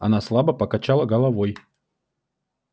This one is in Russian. она слабо покачала головой